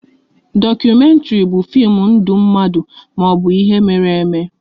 Dokumentri bụ fim ndụ mmadụ maọbụ ihe mere eme